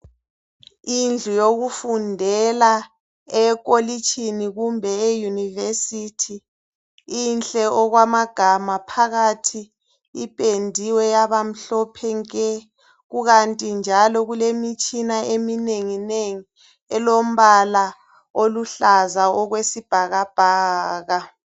Indlu yokufundela ekolitshini kumbe e university inhle okwamagama ,phakathi ipendiwe yaba mhlophe nke . Kukanti njalo kule mitshina eminengi nengi elombala oluhlaza okwesibhakabhaka .